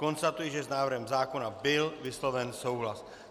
Konstatuji, že s návrhem zákona byl vysloven souhlas.